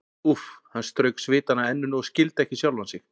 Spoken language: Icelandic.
Úff, hann strauk svitann af enninu og skildi ekki sjálfan sig.